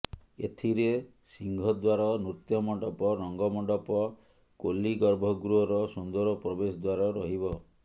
ଏଥିରେ ସିଂହ ଦ୍ୱାର ନୃତ୍ୟ ମଣ୍ଡପ ରଙ୍ଗ ମଣ୍ଡପ କୋଲୀ ଗର୍ଭ ଗୃହର ସୁନ୍ଦର ପ୍ରବେଶ ଦ୍ୱାର ରହିବ